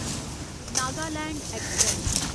Nagaland express